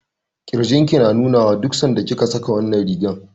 Ƙirjin ki na nuna wa duk sanda kika saka wannan rigar.